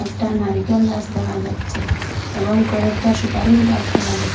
একটা নারিকেল গাস দেখা যাচ্ছে এবং কয়েকটা সুপারির গাস দেখা যা--